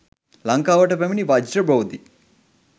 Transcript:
ලංකාවට පැමිණි වජ්‍ර බෝධි